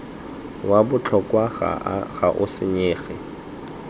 wa botlhokwa ga o senyege